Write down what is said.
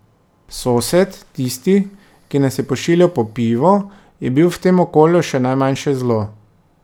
Sosed, tisti, ki nas je pošiljal po pivo, je bil v tem okolju še najmanjše zlo.